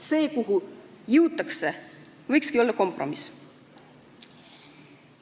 See, kuhu jõutakse, võikski olla kompromiss.